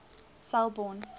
selborne